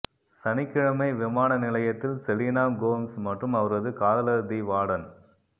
சனிக்கிழமை விமான நிலையத்தில் செலினா கோம்ஸ் மற்றும் அவரது காதலர் தி வார்டன்